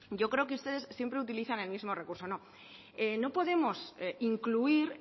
yo creo que ustedes siempre utilizan el mismo recurso no no podemos incluir